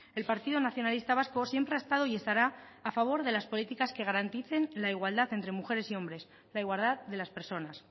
el partido nacionalista vasco siempre ha estado y estará a favor de las políticas que garanticen la igualdad entre mujeres y hombres la igualdad de las personas